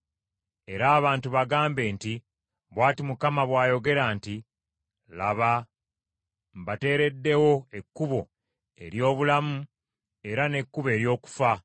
“Era abantu bagambe nti, ‘Bw’ati Mukama bw’ayogera nti: Laba mbateereddewo ekkubo ery’obulamu era n’ekkubo ery’okufa.